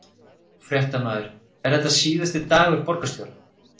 Fréttamaður: Er þetta síðasti dagur borgarstjóra?